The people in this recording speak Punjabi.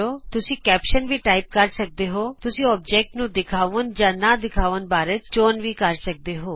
ਤੁਸੀਂ ਸਿਰਲੇਖ ਵੀ ਟਾਈਪ ਕਰ ਸਕਦੇ ਹੋਤੁਸੀਂ ਅਕਾਰ ਨੂੰ ਦਿਖਾਉਣ ਜਾਂ ਨਾ ਦਿਖਾਉਣ ਬਾਰੇ ਚੋਣ ਵੀ ਕਰ ਸਕਦੇ ਹੋ